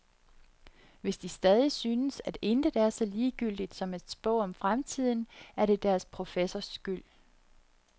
Hvis de stadig synes, at intet er så ligegyldigt som at spå om fremtiden, er det deres professors skyld.